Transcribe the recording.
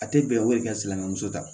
A tɛ bɛn o de ka silamɛ muso ta